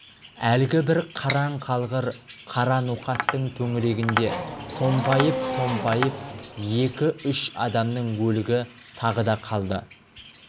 әлгі бір қараң қалғыр қара ноқаттың төңірегінде томпайып-томпайып екі-үш адамның өлігі тағы да қалды